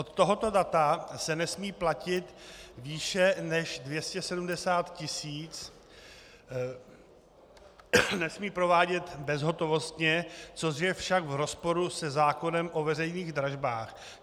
Od tohoto data se nesmí platit výše než 270 tisíc, nesmí provádět bezhotovostně, což je však v rozporu se zákonem o veřejných dražbách.